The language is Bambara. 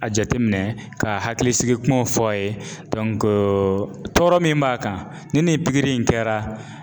A jateminɛ ka hakilisigi kumaw fɔ a ye tɔɔrɔ min b'a kan ni nin pikiri in kɛra.